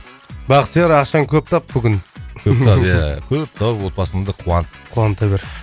бақтияр ақшаны көп тап бүгін көп тап ия коп тауып отбасыңды қуант қуанта бер